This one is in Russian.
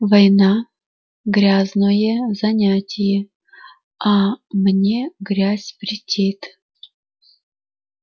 война грязное занятие а мне грязь претит